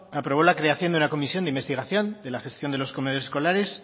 aprobó la creación de una comisión de investigación de la gestión de los comedores escolares